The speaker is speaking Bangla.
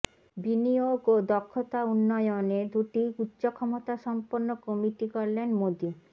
বিনিয়োগ ও দক্ষতা উন্নয়নে দুটি উচ্চ ক্ষমতাসম্পন্ন কমিটি গড়লেন মোদি